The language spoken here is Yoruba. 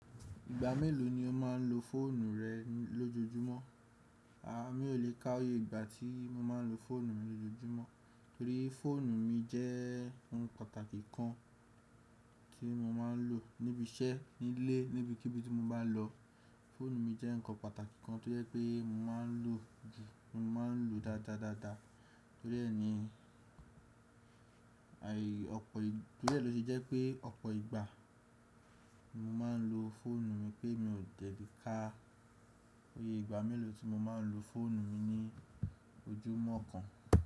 Ìgbà mélòó ni o máa ń lo fóònù rẹ lójoójúmọ́? A, mi ò lè ka oyè ìgbà tí mo máa ń lo fóònù mi lójoójúmọ́, torí fóònù mi jẹ́ ohun pàtàkì kan tí mo máa ń lò níbi iṣẹ́, nílé, níbikíbi tí mo bá n lọ. Fóònù mi jẹ́ ǹkan pàtàkì kan tó jẹ́ pé mo máa ń lò jù, mo máa ń lò dáadáa daada, torí ẹ ni, ai, ọ̀pọ̀ ì, torí ẹ ló ṣe jẹ́ pé ọ̀pọ̀ ìgbà mo máa ń lo fóònù mi pé mi ò dele ka iyè ìgbà mélòó tí mo máa ń lo fóònù mi ní ojúmọ́ kan.